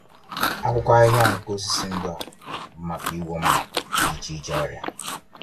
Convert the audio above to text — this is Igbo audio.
Akwụkwọ ahịhịa nke osisi ndụ a bụ maka ịgwọ mba dị iche iche ọrịa